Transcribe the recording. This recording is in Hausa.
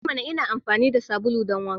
E mana! Ina amfani da sabulu don wanka.